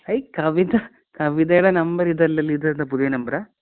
അയ് കവിതാ. കവിതേടെ നമ്പർ ഇതല്ലല്ലോ. ഇതേതാ പുതിയ നമ്പറാ?